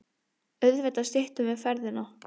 Auðvitað styttum við ferðina.